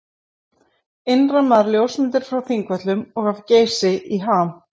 Innrammaðar ljósmyndir frá Þingvöllum og af Geysi í ham.